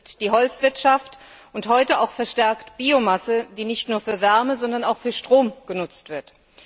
Das ist die Holzwirtschaft und heute auch verstärkt die Biomasse, die nicht nur für Wärme, sondern auch für Strom genutzt wird.